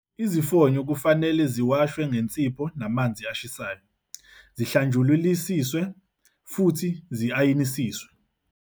Izifonyo kufanele ziwashwe ngensipho namanzi ashisayo, zihlanjululisiswe futhi zi-ayinisiswe.